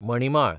मणिमाळ